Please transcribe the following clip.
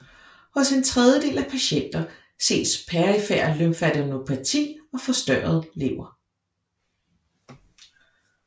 Hos en tredjedel af patienter ses perifer lymfadenopati og forstørret lever